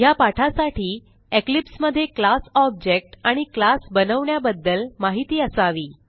ह्या पाठासाठी इक्लिप्स मध्ये क्लास ऑब्जेक्ट आणि क्लास बनवण्याबद्दल माहीती असावी